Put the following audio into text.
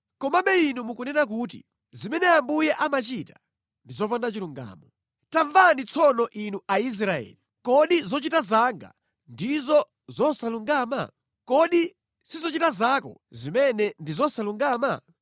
“Komabe inu mukunena kuti, ‘Zimene Ambuye amachita ndi zopanda chilungamo.’ Tamvani tsono inu Aisraeli: Kodi zochita zanga ndizo zosalungama? Kodi si zochita zanu zimene ndi zosalungama?